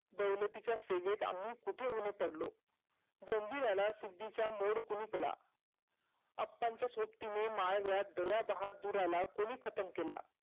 दौलतीच्या सेवेत आम्ही कुठे ओले पडलो? जंजीराला सिद्धीचा मोर कोणी केला? आप्पांच्या सोबती माळव्यात दयाबहादुराला कोणी खतम केला?